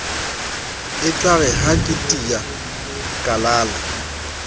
etlare ha ke tea kalala